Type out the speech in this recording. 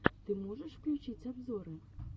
ты можешь включить обзоры